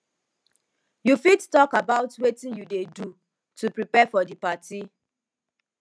you fit talk about about wetin you dey do to prepare for di party